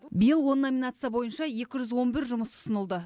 биыл он номинация бойынша екі жүз он бір жұмыс ұсынылды